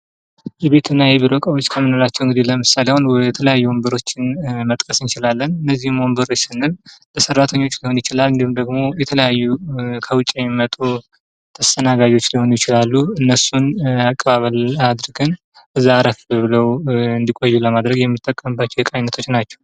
የቤትና የቢሮ እቃዎች ከምንላቸው እንግዲህ ለምሳሌ አሁን የተለያዩ ወንበሮችን መጥቀስ እንችላለን። እነዚህም ወንበሮች ስንል ለሰራተኞች ሊሆን ይችላል ወይም ደግሞ የተለያዩ ከውጪ የሚመጡ ተስተናጋጆች ሊሆኑ ይችላሉ። እነሱን አቀባበል አድርገን እዛ አረፍ ብለው እንዲቆዩ ለማድረግ የምንጠቀምባቸው የዕቃ ዐይነቶች ናቸው።